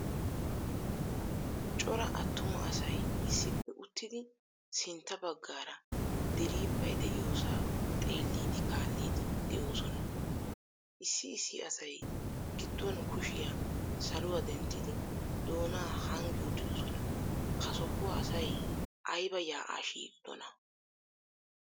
Cora attuma asay issippe uttidi sintta baggaara diriphphay de'iyosa xeelidi kaalidi de'osona. Issi issi asay giduwan kushiya saluwaa denttidi doona hanggi uttidosona. Ha sohuwaa asay ayba yaa'a shiiqidona?